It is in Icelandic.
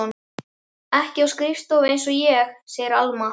Ekki á skrifstofu einsog ég, segir Alma.